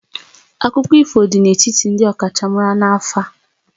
Akụkọ ifo dị n'etiti ndị ọkachamara na afa